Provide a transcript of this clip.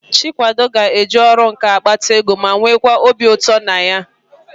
Chikwado ga-eji ọrụ nkà akpata ego ma nweekwa obi ụtọ na ya.